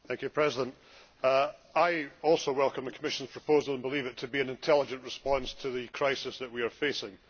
Madam President, I also welcome the Commission's proposal and believe it to be an intelligent response to the crisis that we are facing.